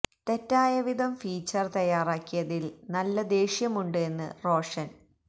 തെറ്റായ വിധം ഫീച്ചര് തയ്യാറാക്കിയതില് നല്ല ദേഷ്യം ഉണ്ട് എന്ന് റോഷന്